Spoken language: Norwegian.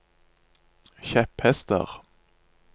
kjepphester